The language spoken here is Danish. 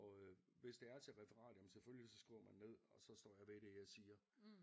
Og øh hvis det er til referat jamen selvfølgelig så skriver man ned og så står jeg ved det jeg siger